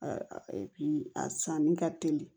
a sanni ka teli